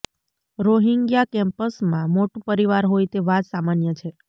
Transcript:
Rohingya કેમ્પ્સમાં મોટું પરિવાર હોય તે વાત સામાન્ય છે